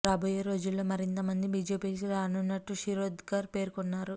రాబోయే రోజుల్లో మరింత మంది బీజేపీ లోకి రానున్నట్లు శిరోద్కర్ పేర్కొన్నారు